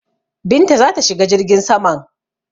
Binta za ta shiga jirgin saman.